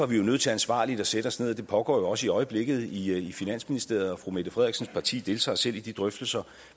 vi nødt til ansvarligt at sætte os ned og det pågår jo også i øjeblikket i finansministeriet og fru mette frederiksens parti deltager selv i de drøftelser